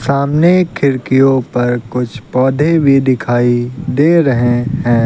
सामने खिड़कियों पर कुछ पौधे भी दिखाई दे रहे हैं।